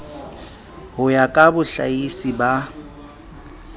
ho ya ka bohlahisi ba